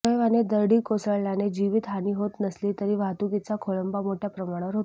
सुदैवाने दरडी कोसळल्याने जीवित हानी होत नसली तरी वाहतुकीचा खोळंबा मोठ्या प्रमाणावर होतो